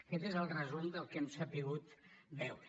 aquest és el resum del que hem sabut veure